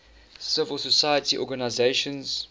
civil society organizations